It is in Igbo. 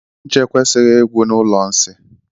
Ncha ekwesighi igwu na ụlọ nsị.